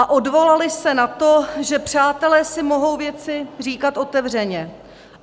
- a odvolali se na to, že přátelé si mohou věci říkat otevřeně.